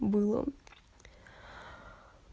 было